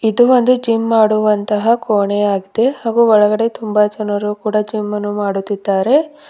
ಇದು ಒಂದು ಜಿಮ್ ಮಾಡು ವಂತಹ ಕೋಣೆಯಾಗಿದೆ ಹಾಗೂ ಒಳಗಡೆ ತುಂಬ ಜನರು ಕೂಡ ಜಿಮ್ ಅನ್ನು ಮಾಡುತ್ತಿದ್ದಾರೆ.